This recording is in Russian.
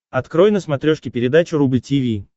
открой на смотрешке передачу рубль ти ви